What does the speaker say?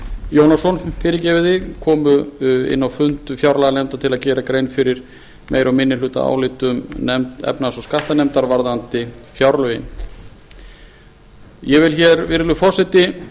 jónasson komu inn á fund fjárlaganefndar til að gera grein fyrir meiri og minnihlutaálitum efnahags og skattanefndar varðandi fjárlögin virðulegur forseti